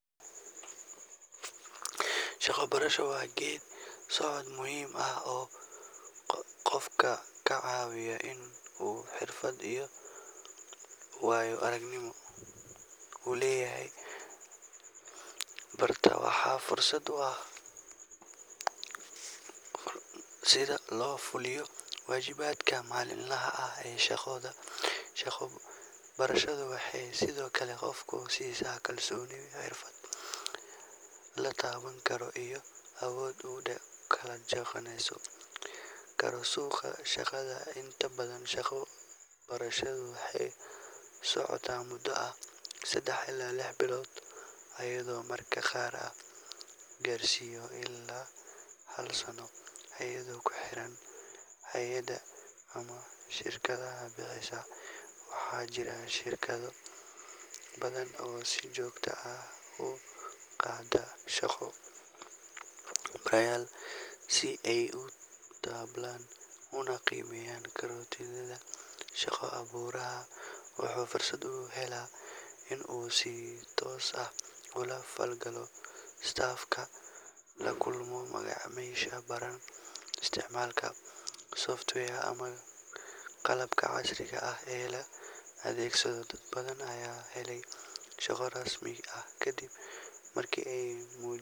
Shaqo barasho waa geeddi-socod muhiim ah oo qofka ka caawiya in uu xirfad iyo waayo-aragnimo ka helo goob shaqo isagoo wali barta. Waa fursad uu qofka ardayga ama dhallinyarada ah ku barto shaqo gacmeed ama mid xafiiseed si uu u fahmo sida loo fuliyo waajibaadka maalinlaha ah ee shaqada. Shaqo barashadu waxay sidoo kale qofka siisaa kalsooni, xirfad la taaban karo iyo awood uu kula jaanqaadi karo suuqa shaqada. Inta badan, shaqo barashadu waxay socotaa muddo ah saddex ilaa lix bilood, iyadoo mararka qaar la gaarsiiyo ilaa hal sano, iyadoo ku xiran hay’adda ama shirkadda bixisa. Waxaa jira shirkado badan oo si joogto ah u qaata shaqo-barayaal si ay u tababaraan una qiimeeyaan kartidooda. Shaqo-baruhu wuxuu fursad u helaa in uu si toos ah ula falgalo staff-ka, la kulmo macaamiisha, barana isticmaalka software ama qalabka casriga ah ee la adeegsado. Dad badan ayaa helay shaqo rasmi ah kadib markii ay.